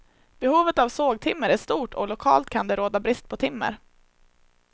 Behovet av sågtimmer är stort och lokalt kan det råda brist på timmer.